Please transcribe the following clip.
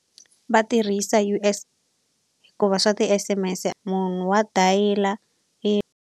Va tirhisa hikuva swa ti-S_M_S-e munhu wa dayila .